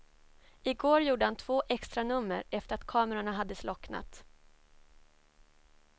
I går gjorde han två extranummer efter att kamerorna hade slocknat.